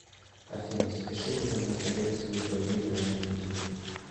афина запиши меня на коррекцию бровей на этой неделе